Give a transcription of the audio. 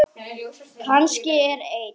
Kannski er ein